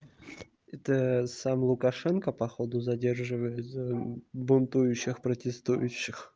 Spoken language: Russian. это сам лукашенко походу задерживает за бунтующих протестующих